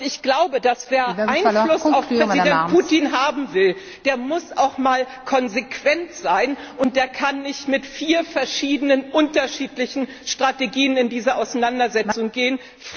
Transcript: Ich glaube, wer Einfluss auf Präsident Putin haben will, der muss auch mal konsequent sein, und der kann nicht mit vier verschiedenen unterschiedlichen Strategien in diese Auseinandersetzung gehen.